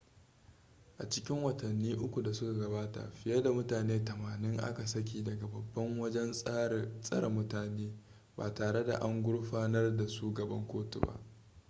a cikin watanni 3 da suka gabata fiye da mutane 80 a ka saki daga babban wajen tsare mutane ba tare da an gurfanar da su gaban kotu ba